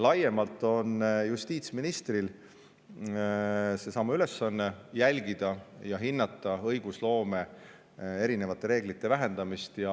Ja justiitsministril on laiemalt seesama ülesanne: jälgida ja hinnata õigusloome erinevate reeglite vähendamist.